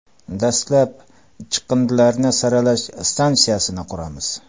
Dastlab chiqindilarni saralash stansiyasini quramiz.